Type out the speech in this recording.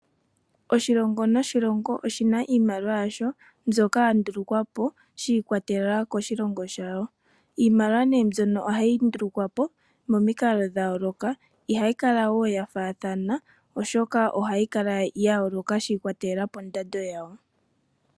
Oshilongo noshilongo oshina iimaliwa yasho mbyoka yandulukwapo shiikwatelela koshilongo shawo. Iimaliwa mbyono ohayi ndulukwa po momikalo dhayooloka ihayi kala woo yafaathana, oshoka ohayi kala yayooloka shiikwatelela pondando yawo.